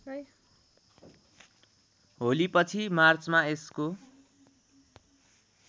होलीपछि मार्चमा यसको